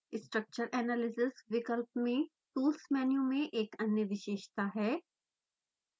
structure analysisविकल्प में tools menu में एक अन्य विशेषता है